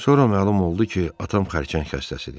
Sonra məlum oldu ki, atam xərçəng xəstəsidir.